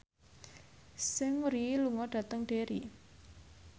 Seungri lunga dhateng Derry